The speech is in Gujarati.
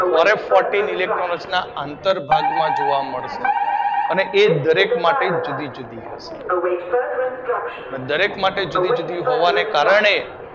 કોરોન ફોરટીન ઇલેક્ટ્રોન રચના આંતર ભાગમાં જોવા મળે છે જે દરેક માટે જુદી જુદી હોય છે પણ દરેક માટે જુદી જુદી હોવાના કારણે